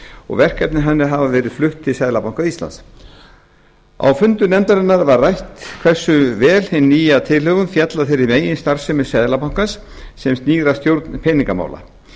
og verkefni hennar hafa verið flutt til seðlabanka íslands á fundum nefndarinnar var rætt hversu vel hin nýja tilhögun félli að þeirri meginstarfsemi seðlabankans sem snýr að stjórn peningamála